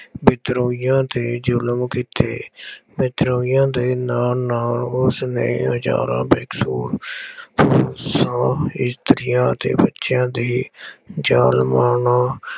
ਵਿਦਰੋਹੀਆਂ ਤੇ ਜ਼ੁਲਮ ਕੀਤੇ। ਵਿਦਰੋਹੀਆਂ ਦੇ ਨਾਲ ਨਾਲ ਉਸਨੇ ਬੇਕਸੂਰ ਖੂਬਸੂਰਤ ਇਸਤਰੀਆਂ ਅਤੇ ਬੱਚਿਆਂ ਦੀ ਜਾਨ ਮਾਲ ਨਾਲ